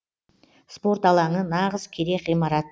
спорт алаңы нағыз керек ғимарат